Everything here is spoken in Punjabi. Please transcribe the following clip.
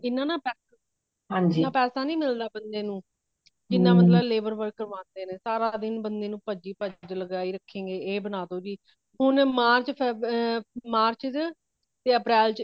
ਇਨਾ ਪੈਸੇ ਨਹੀਂ ਮਿਲਦਾ ਬੰਦੇ ਨੁੰ ਜਿਨ੍ਹਾਂ ਬੰਦਾ labor work ਕਰਵਾਂਦੇ ਨੇ ਸਾਰਾ ਦਿਨ ਬੰਦੇ ਨੂੰ ਪਜੀ ਪਜੀ ਲਾਗਾਯੀ ਰੱਖਣ ਗਏ ਇਹ ਬਣਾ ਦੋ ਜੀ ਹੁਣ march ਵਿਚ ਤੇ april ਵਿਚ ਇਨਾ